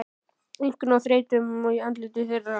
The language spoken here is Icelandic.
Einkum á þreytuna í andliti þeirra.